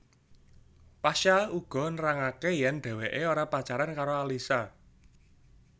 Pasha uga nerangaké yèn dhéwéké ora pacaran karo Alyssa